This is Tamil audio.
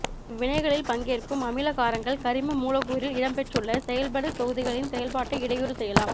இவ்வினைகளில் பங்கேற்கும் அமில காரங்கள் கரிம மூலக்கூறில் இடம்பெற்றுள்ள செயல்படு தொகுதிகளின் செயல்பாட்டை இடையூறு செய்யலாம்